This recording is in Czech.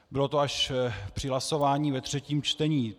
Bylo to až při hlasování ve třetím čtení.